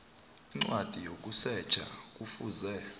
incwadi yokusetjha kufuze